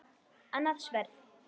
Annað sverð.